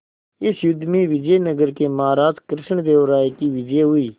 इस युद्ध में विजय नगर के महाराज कृष्णदेव राय की विजय हुई